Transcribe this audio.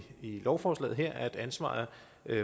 lovforslaget her op til at ansvaret